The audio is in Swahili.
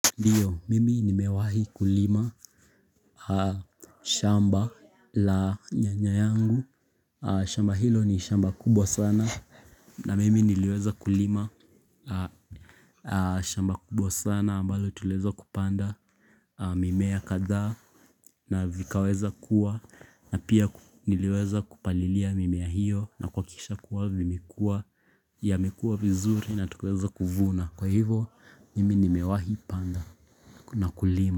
Ndiyo m, imi nimewahi kulima shamba la nyanya yangu shamba hilo ni shamba kubwa sana na mimi niliweza kulima shamba kubwa sana ambalo tuliweza kupanda mimea kadhaa na vikaweza kua na pia niliweza kupalilia mimea hiyo na kuhakikisha kuwa vimekua, yamekua vizuri na tukaweza kuvuna. Kwa hivyo mimi nimewahi panda na kulima.